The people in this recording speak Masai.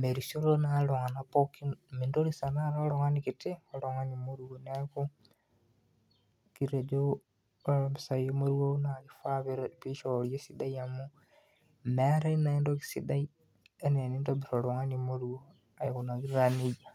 merisioro naa iltunganak pookin , mintoris tenakata oltungani kiti oltungani moruo neaku kitejo ore mpisai emorua naa kifaa pe peishoori esidai amu meetae naa entoki sidai enaa enintobir oltungani moruo aikunaki taa nejia.